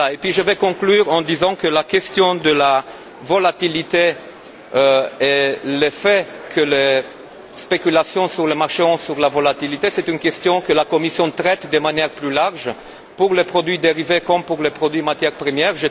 Je conclurai en disant que la question de la volatilité et l'effet que les spéculations sur le marché ont sur la volatilité est une question que la Commission traite d'une manière plus large, pour les produits dérivés comme pour les produits matières premières.